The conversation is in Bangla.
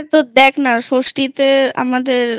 হ্যাঁ দেখ না ষষ্ঠীতে আমাদের